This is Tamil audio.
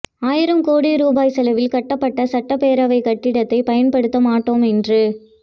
ஆயிரம் கோடி ரூபாய் செலவில் கட்டப்பட்ட சட்டபேரவை கட்டிடத்தை பயன்படுத்த மாட்டோம் என்று